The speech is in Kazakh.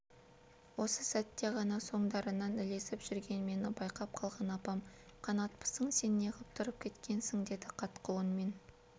осы сәтте ғана соңдарынан ілесіп жүрген мені байқап қалған апам қанатпысың сен неғып тұрып кеткенсің деді қатқыл үнмен